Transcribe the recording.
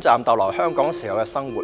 暫逗留在香港時的生活。